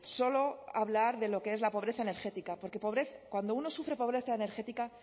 solo hablar de lo que es la pobreza energética porque cuando uno sufre pobreza energética